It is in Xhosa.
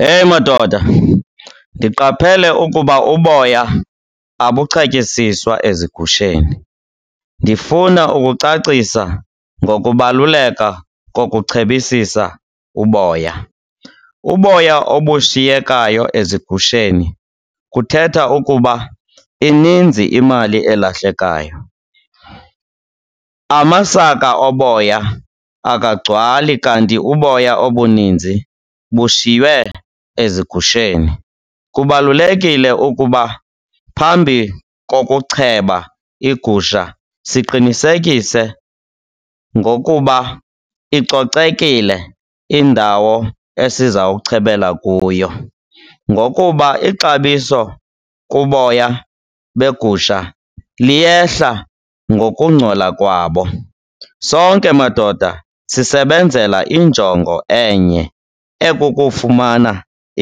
Heyi madoda, ndiqaphele ukuba uboya abuchetyisiswa ezigusheni. Ndifuna ukucacisa ngokubaluleka kokuchebisisa uboya. Uboya obushiyekayo ezigusheni kuthetha ukuba ininzi imali elahlekayo, amasaka oboya akagcwali kanti uboya obuninzi bushyiywe ezigusheni. Kubalulekile ukuba phambi kokucheba igusha siqinisekise ngokuba icocekile indawo esiza kuchebela kuyo ngokuba ixabiso kuboya begusha liyehla ngokungcola kwabo. Sonke, madoda, sisbenzela injonge enye ekukufumana